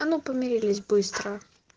а ну помирились быстро